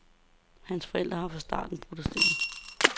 Hans forældre har fra starten protesteret.